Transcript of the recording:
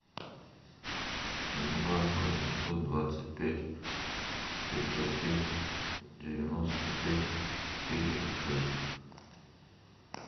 два восемьсот двадцать пять пятьсот пять девяносто пять четыре шесть